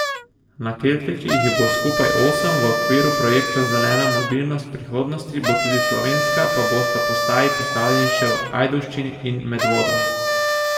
Na keltiki jih bo skupaj osem, v okviru projekta Zelena mobilnost prihodnosti bo tudi slovenska pa bosta postaji postavljeni še v Ajdovščini in Medvodah.